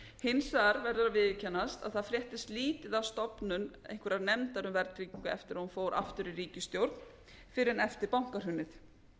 verður að viðurkennast að það fréttist lítið af stofnun einhverrar nefndar um verðtryggingu eftir að hún fór aftur í ríkisstjórn fyrr en eftir bankahrunið